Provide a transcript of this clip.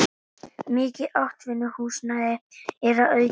Mikið atvinnuhúsnæði er að auki